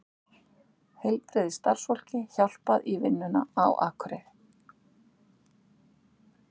Heilbrigðisstarfsfólki hjálpað í vinnuna á Akureyri